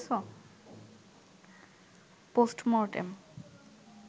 postmortem